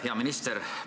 Hea minister!